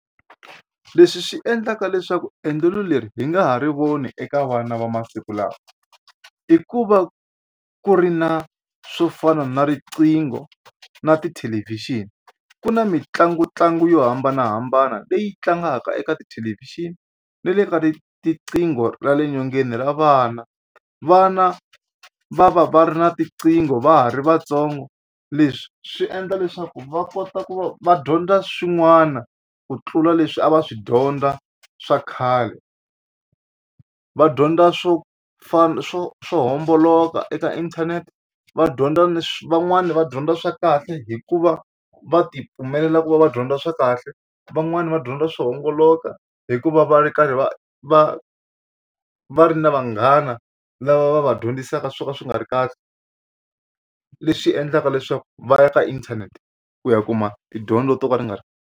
Leswi swi endlaka leswaku endlelo leri hi nga ha ri voni eka vana va masiku lawa i ku va ku ri na swo fana na riqingho na tithelevhixini ku na mitlanguntlangu yo hambanahambana leyi tlangaka eka tithelevhixini ni le ka tiqingho ra le nyongeni ra vana. Vana va va va ri na tiqingho va ha ri vatsongo leswi swi endla leswaku va kota ku va va dyondza swin'wana ku tlula leswi a va swi dyondza swa khale. Va dyondza swo fana swo swo homboloka eka inthanete va dyondza ni swi van'wani va dyondza swa kahle hikuva va tipfumelela ku va va dyondza swa kahle van'wani va dyondza swo homboloka hikuva va ri karhi va va va ri na vanghana lava va va dyondzisaka swo ka swi nga ri kahle leswi endlaka leswaku va ya ka inthanete ku ya kuma tidyondzo to ka ri nga .